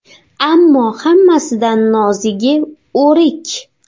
Ammo hammasidan nozigi o‘rik.